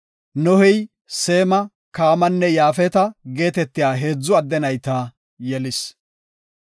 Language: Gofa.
Nohey Seema, Kaamanne Yaafeta geetetiya heedzu adde nayta yelis.